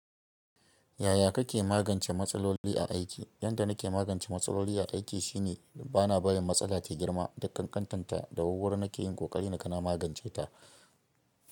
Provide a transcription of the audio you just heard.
Yaya kake magance matsaloli a aiki? Yanda nake magance matsaloli a aiki shine bana barin matsala ta girma duk ƙanƙanta ta da wur wuri nake yin ƙoƙari naga na magance ta.